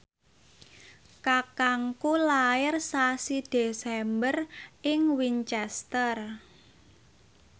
kakangku lair sasi Desember ing Winchester